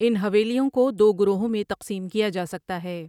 ان حویلیوں کو دو گروہوں میں تقسیم کیا جا سکتا ہے ۔